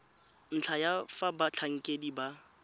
ntlha ya fa batlhankedi ba